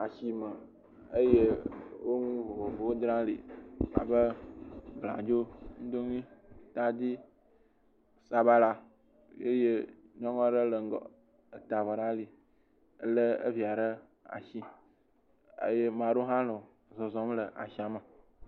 Asime eye wo nu vovovowo dzram li abe bladzo, nudoŋui, tadi, sabala eye nyɔnua ɖe le ŋgɔ eta avɔ ɖe ali eye mado hã nɔ zɔzɔm le asia me